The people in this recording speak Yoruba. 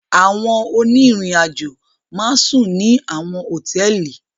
Àwọn oniriajo ma n sun ni awọn hotẹẹli